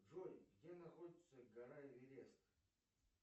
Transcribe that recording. джой где находится гора эверест